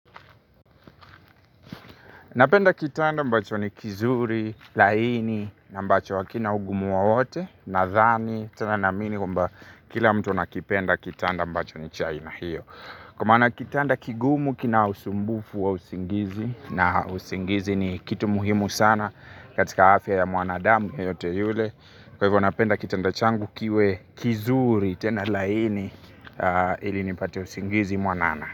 Napenda kitanda ambacho ni kizuri, laini, na ambacho hakina ugumu wowote, nadhani, tena naamini kwamba kila mtu anakipenda kitanda ambacho ni cha aina hiyo. Kwa maana kitanda kigumu kina usumbufu wa usingizi na usingizi ni kitu muhimu sana katika afya ya mwanadamu yeyote yule. Kwa hivyo napenda kitanda changu kiwe kizuri tena laini ili nipate usingizi mwanana.